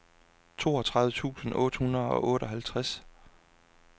toogtredive tusind otte hundrede og otteoghalvtreds